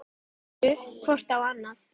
Litu hvor á annan.